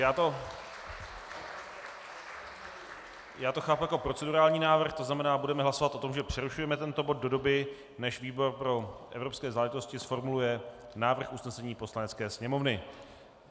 Já to chápu jako procedurální návrh, to znamená, budeme hlasovat o tom, že přerušujeme tento bod do doby, než výbor pro evropské záležitosti zformuluje návrh usnesení Poslanecké sněmovny.